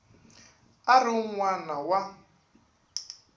a ri un wana wa